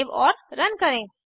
save और run करें